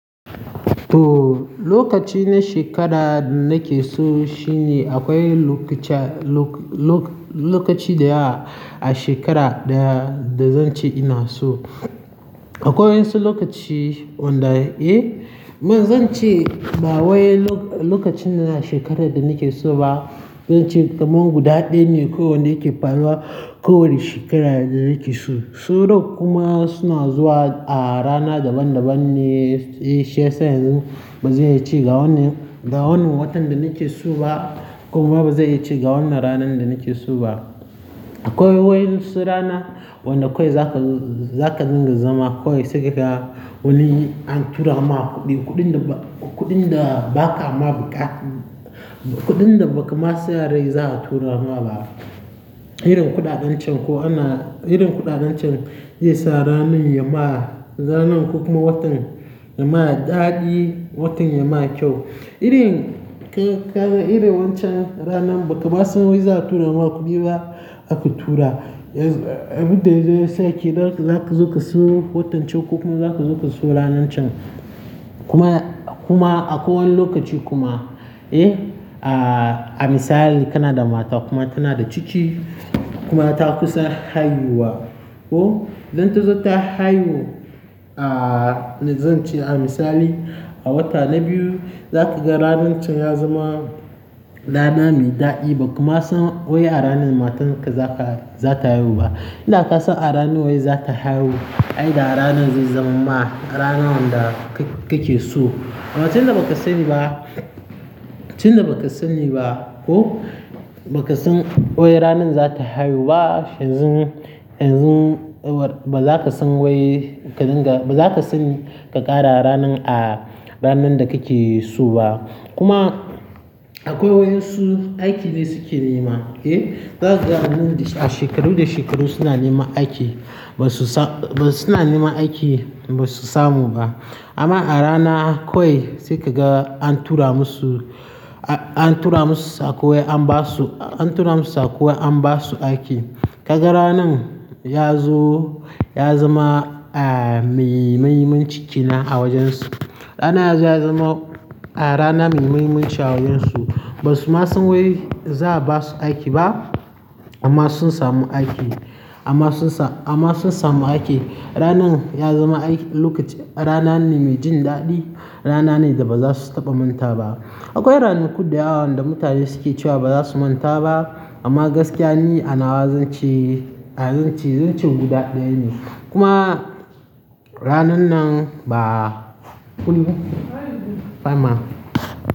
Ooo, lokaci na shekara nake so shine akwai lokaci, lokaci da ya a shekara da, da zan ce ina so. Akwai wasu lokaci wanda, eh, man zan ce ba wai lokacin na shekarar da nake so ba, zan ce kamar guda ɗaya ne ko wanda yake faruwa ko wane shekara da nake so. Sauran kuma suna zuwa a rana daban-daban ne, eh, sai yanzu bazai ce ga wannan, ga wannan watan da nake so ba, kuma bazai yace ga wannan ranar da nake so ba. Akwai waƴansu rana wanda kawai zaka zo, zaka dinga zama kawai sai ka ga wani an tura ma kuɗi, kuɗin da ba, kuɗin da baka ma buƙa, kuɗin da ba ka ma sa rai za a tura ma ba. Irin kuɗaɗancen ko ana-- irin kuɗaɗancen zai sa ransnn ya ma ranan ko kuma watan ya ma daɗi, watan ya ma kyau. Irin, irin wancan ranan ba ka ba san wai za a tura ma kuɗi ba aka tura, abin da zai sa kenan zaka zo ka so watan ce ko kuma zaka zo ka so ranan can. Kuma, kuma akwai wani lokaci kuma, eh, a, a misali kana da mata kuma tana da ciki kuma ta kusa haihuwa, oh, idan ta zo ta haihu a, zan ce a misali a wata na biyu, za ka ga ranan can ya zama rana mai daɗi ba ka ma san wai a ranan matarka zaka, za ta haihu ba. Idan ka san a ranan wai za ta haihu, ai da ranan zai zama ma rana wanda ka ke so. Abin da ba ka sani ba, abin da ba ka sani ba ko, ba ka san wai ranan za ta haihu ba yanzu, yanzu ba za ka san wai ka dinga, ba za ka san ka ƙara ranan a ranan da kake so ba. Kuma akwai waƴansu aiki ne suke nema, eh, za ka ga a shekaru da shekaru suna neman aiki, ba su samu, suna neman aiki ba su samu ba. Amma a rana kwai sai ka ga an tura musu, an tura musu saƙo wai an ba su, an tura musu saƙo an ba su aiki. Ka ga ranan ya zo ya zama a, mai mahimmin ci kenan a wajen su. Ranan yazo yazama a rana mai mahimmanci a wurin su. Ba su ma san wai za a ba su aiki ba amma sun samu aiki, amma sun sa, amma sun samu aiki. Ranan ya zama aiki, lokacin rana ne mai jin daɗi, rana ne da ba za su taɓa manta ba. Akwai ranaku da yawa wanda mutane suke cewa ba za su manta ba amma gaskiya ni a nawa zan ce, a zan ce, zan ce guda ɗaya ne. Kuma ranan nan ba kunni? Ba ma.